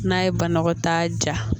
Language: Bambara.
N'a ye banakɔtaa ja